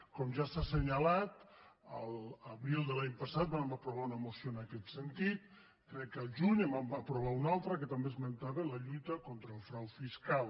com ja s’ha assenyalat l’abril de l’any passat vam aprovar una moció en aquest sentit crec que el juny en vam aprovar una altra que també esmentava la lluita con·tra el frau fiscal